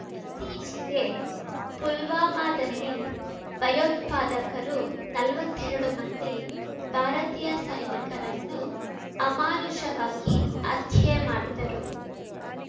ಇತ್ತೀಚೆಗೆ ಪುಲ್ವಾಮಾದಲ್ಲಿ ಭಯೋತ್ಪಾದಕರು ನಲ್ವತ್ತೆರಡು ಮಂದಿ ಭಾರತೀಯ ಸೈನಿಕರನ್ನು ಅಮಾನುಷವಾಗಿ ಹತ್ಯೆ ಮಾಡಿದರು